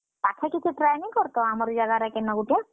ପାଖେ ଟିକେ try ନିକର୍ ତ? ଆମର୍ ଇ ଜାଗାରେ କେନ ଗୁଟେ?